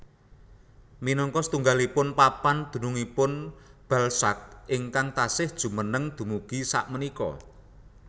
Minangka satunggaling papan dununngipun Balzac ingkang taksih jumeneng dumugi sakmenika